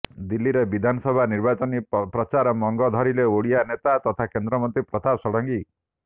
ଦିଲ୍ଲୀରେ ବିଧାନସଭା ନିର୍ବାଚନୀ ପ୍ରଚାର ମଙ୍ଗ ଧରିଲେ ଓଡିଶା ନେତା ତଥା କେନ୍ଦ୍ରମନ୍ତ୍ରୀ ପ୍ରତାପ ଷଡଙ୍ଗୀ